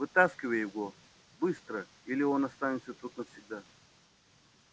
вытаскивай его быстро или он останется тут навсегда